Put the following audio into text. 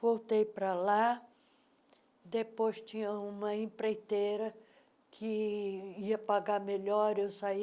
Voltei para lá, depois tinha uma empreiteira que ia pagar melhor eu saí.